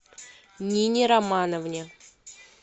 нине романовне